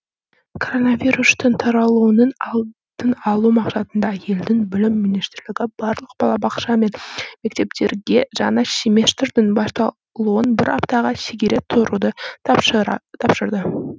коронавирустың таралуының алдын алу мақсатында елдің білім министрлігі барлық балабақша мен мектептерге жаңа семестрдің басталуын бір аптаға шегере тұруды тапсырды